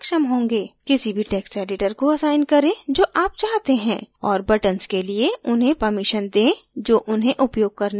किसी भी text editor को असाइन करें जो आप चाहते हैं और buttons के लिए उन्हें permissions दें जो उन्हें उपयोग करने की अनुमति देते हैं